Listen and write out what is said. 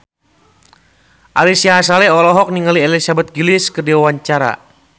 Ari Sihasale olohok ningali Elizabeth Gillies keur diwawancara